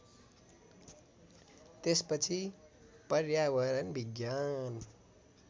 त्यसपछि पर्यावरण विज्ञान